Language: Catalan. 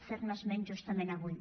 fer ne esment justament avui